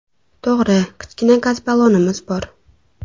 To‘g‘ri, kichkina gaz ballonimiz bor.